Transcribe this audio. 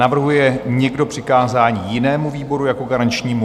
Navrhuje někdo přikázání jinému výboru jako garančnímu?